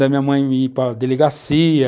Da minha mãe ir para a delegacia,